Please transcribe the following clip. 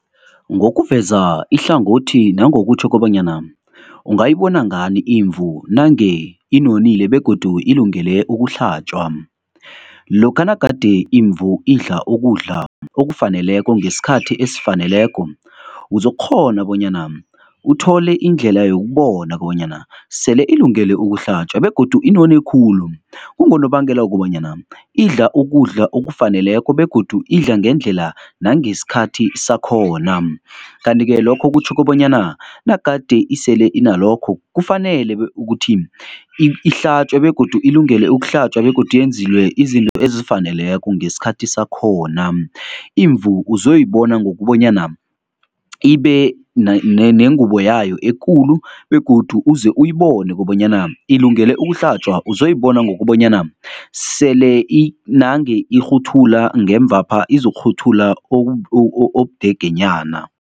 Ngokuveza ihlangothi nangokutjho kobanyana ungayibona ngani imvu nange inonile begodu ilungele ukuhlatjwa? Lokha nagade imvu idla ukudla okufaneleko ngesikhathi esifaneleko, uzokukghona bonyana uthole indlela yokubona banyana sele ilungele ukuhlatjwa begodu inone khulu. Kungonobangela wokobanyana idla ukudla okufaneleko begodu idla ngendlela nangesikhathi sakhona. Kanti-ke lokho kutjho kobanyana nagade isele inalokho kufanele ukuthi ihlatjwe begodu ilungele ukuhlatjwa begodu yenzilwe izinto ezifaneleko ngesikhathi sakhona. Imvu uzoyibona ngokobanyana ibe nengubo yayo ekulu begodu uze uyibone kobanyana ilungele ukuhlatjwa, uzoyibona ngokobanyana sele nange irhuthula ngemvapha, izokurhuthula obudegenyana.